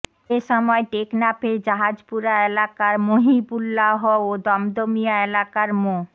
এ সময় টেকনাফের জাহাজপুরা এলাকার মহিবুল্লাহ ও দমদমিয়া এলাকার মো